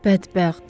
Bədbəxt!